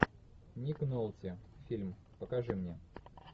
ник нолти фильм покажи мне